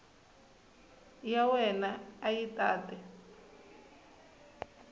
ya wena a yi tate